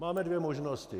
Máme dvě možnosti.